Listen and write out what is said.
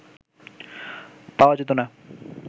পাওয়া যেত না